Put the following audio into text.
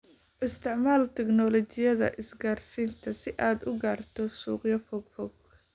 Isticmaal tignoolajiyada isgaarsiinta si aad u gaarto suuqyo fogfog.